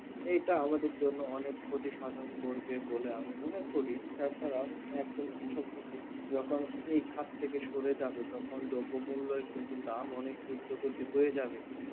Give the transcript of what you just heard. এটা আমাদের জন্য অনেক ক্ষতি সাধারণ করবে বলে আমি মনে করি, তাছাড়াও একজন কৃষককে যখন এই খাত থেকে সরে যাবে তখন দ্রব্যমূল্যের দাম অনেক উদ্যোগতি হয়ে যাবে